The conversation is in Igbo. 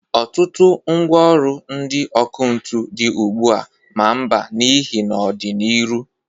Ọtụtụ mgwa ọlụ ndị ọkụ ntụ dị ugbua a ma mba n'ihe n'ọ dị n'iru.